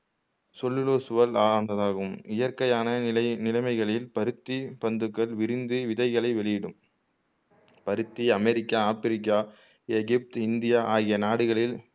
செல்லுலோஸ்சுவால் ஆனதாகும் இயற்கையான நிலை நிலமைகளில் பருத்தி பந்துகள் விரிந்து விதைகளை வெளியிடும் பருத்தி அமெரிக்கா, ஆப்பிரிக்கா, எகிப்து, இந்தியா ஆகிய நாடுகளில்